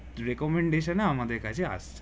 recommendation আমাদের কাছে আসছেন